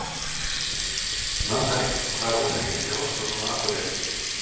Natalie, hvað er opið lengi í Háskólanum á Akureyri?